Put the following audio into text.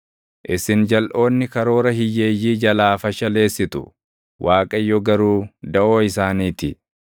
Isin jalʼoonni karoora hiyyeeyyii jalaa fashaleessitu; Waaqayyo garuu daʼoo isaanii ti.